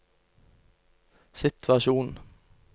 situasjon